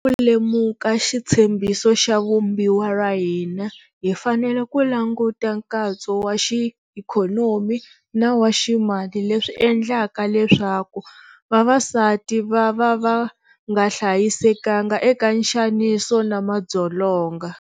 Loko ho lava ku lemuka xitshembiso xa Vumbiwa ra hina hi fanele ku languta nkatso wa xiikhonomi na wa ximali leswi swi endlaka leswaku vavasati vava va nga hlayisekanga eka nxaniso na madzolonga.